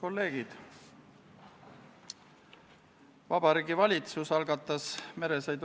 Ettekandja on riigikaitsekomisjoni liige Anneli Ott.